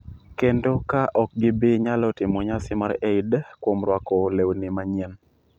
kendo ka ok gibi nyalo timo nyasi mar Eid kuom rwako lewni manyien,